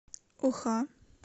оха